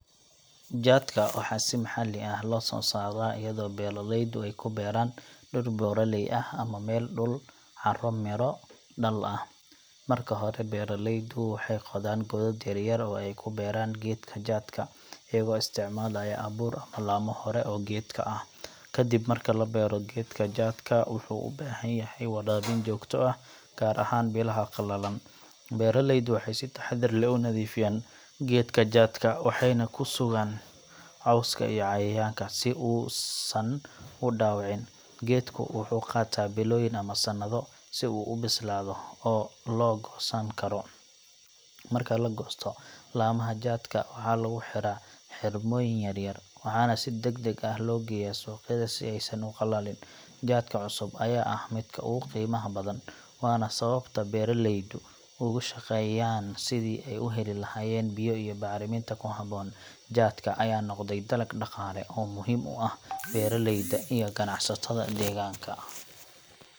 Jaadka waxaa si maxalli ah loo soo saaraa iyadoo beeraleydu ay ku beeraan dhul buuraley ah ama dhul leh carro midho dhal ah. Marka hore, beeraleydu waxay qodaan godad yar yar oo ay ku beeraan geedka jaadka, iyagoo isticmaalaya abuur ama laamo hore oo geedka ah. Kadib marka la beero, geedka jaadka wuxuu u baahan yahay waraabin joogto ah, gaar ahaan bilaha qalalan. Beeraleydu waxay si taxaddar leh u nadiifiyaan geedaha jaadka, waxayna ka sugaan cawska iyo cayayaanka si uusan u dhaawicin. Geedku wuxuu qaataa bilooyin ama sannado si uu u bislaado oo la goosan karo. Marka la goosto, laamaha jaadka waxaa lagu xidhaa xidhmooyin yaryar, waxaana si degdeg ah loo geeyaa suuqyada si aysan u qallalin. Jaadka cusub ayaa ah midka ugu qiimaha badan, waana sababta beeraleydu uga shaqeeyaan sidii ay u heli lahaayeen biyo iyo bacriminta ku habboon. Jaadka ayaa noqday dalag dhaqaale oo muhiim u ah beeraleyda iyo ganacsatada deegaanka.